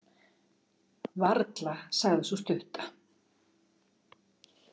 Varla, sagði sú stutta.